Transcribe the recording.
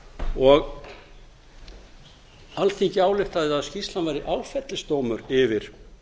og alþingi ályktaði að skýrslan væri áfellisdómur yfir